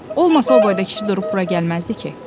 Olmasa o boyda kişi durub bura gəlməzdi ki.